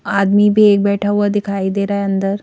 आदमी भी एक बैठा हुआ दिखाई दे रहा है अंदर--